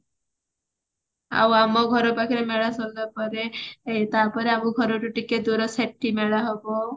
ଆଉ ଆମ ଘର ପାଖରେ ମେଳା ସୁନ୍ଦର ପଡେ ତାପରେ ଆମ ଘରଠୁ ଟିକେ ଦୂର ସେଠି ମେଳା ହବ